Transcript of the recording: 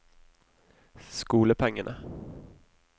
skolepengene